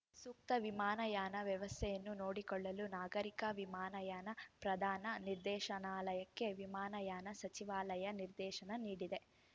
ಸೂಕ್ತ ವಿಮಾನಯಾನ ವ್ಯವಸ್ಥೆಯನ್ನು ನೋಡಿಕೊಳ್ಳಲು ನಾಗರಿಕ ವಿಮಾನಯಾನ ಪ್ರಧಾನ ನಿರ್ದೇಶನಾಲಯಕ್ಕೆ ವಿಮಾನಯಾನ ಸಚಿವಾಲಯ ನಿರ್ದೇಶನ ನೀಡಿದೆ